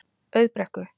Auðbrekku